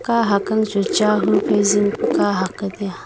kahk ang chu chahu phai zing ku kahak taiaa.